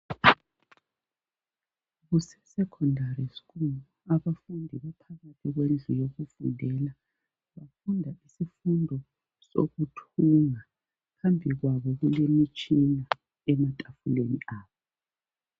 Kuse secondary school, abafundi baphakathi kwendlu yokufundela ,bafunda isifundo sokuthunga. Phambi kwabo kulemitshina ematafuleni abo.